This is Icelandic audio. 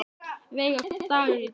Veiga, hvaða dagur er í dag?